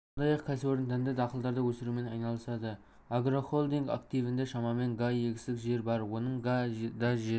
сондай-ақ кәсіпорын дәнді дақылдарды өсірумен айналысады агрохолдинг активінде шамамен га егістік жер бар оның га-да жер